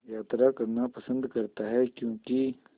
यात्रा करना पसंद करता है क्यों कि